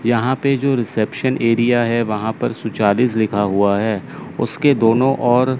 यहां पे जो रिसेप्शन एरिया है वहां पर सुचालिस लिखा हुआ है उसके दोनों ओर--